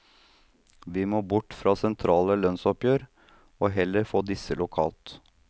Vi må bort fra sentrale lønnsoppgjør og heller få disse lokalt.